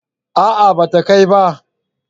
a'a ba ta kai ba